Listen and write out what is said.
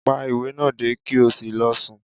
Pá ìwé náà dé, ki o sí lọ sùn!